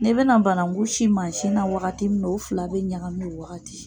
N'i be na bananku si mansi na wagati min na u fila be ɲagami o wagati.